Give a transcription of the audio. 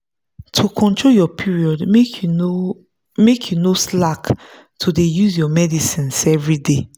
to control your period make you no make you no slack to dey use your medicines everyday.